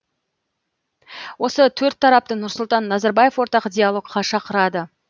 осы төрт тарапты нұрсұлтан назарбаев ортақ диалогқа шақырады